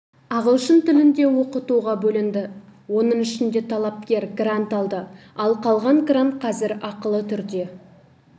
ағылшын тілінде оқытуға бөлінді оның ішінде талапкер грант алды ал қалған грант қазір ақылы түрде